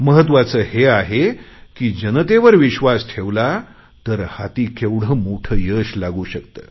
महत्त्वाचे हे आहे की जनतेवर विश्वास ठेवला तर हाती केवढे मोठे यश लागू शकते